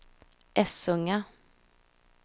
Essunga